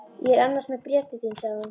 Ég er annars með bréf til þín sagði hún.